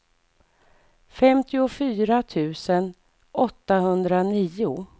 femtiofyra tusen åttahundranio